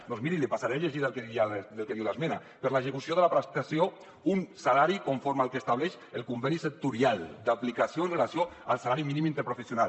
doncs miri li passaré a llegir el que diu l’esmena per l’execució de la prestació un salari conforme el que estableix el conveni sectorial d’aplicació amb relació al salari mínim interprofessional